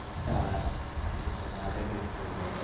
ISKCON Radhe Krishna